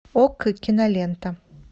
окко кинолента